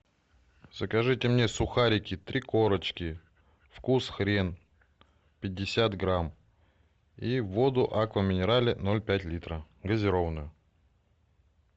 закажите мне сухарики три корочки вкус хрен пятьдесят грамм и воду аква минерале ноль пять литра газированную